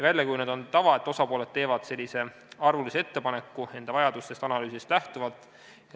Välja on kujunenud tava, et osapooled teevad arvulise ettepaneku enda vajaduste kohta tehtud analüüsidest lähtuvalt.